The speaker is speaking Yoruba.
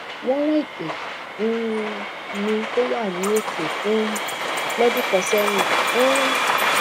won ran ẹtè um mi tó wà ní òkè um lọdún kan sẹyìn um